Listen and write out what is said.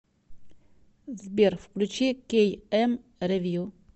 сбер включи кей эм ревью